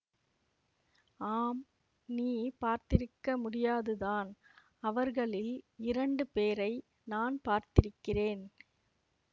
ஆம் நீ பார்த்திருக்க முடியாதுதான் அவர்களில் இரண்டு பேரை நான் பார்த்திருக்கிறேன்